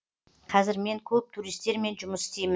қазір мен көп туристермен жұмыс істеймін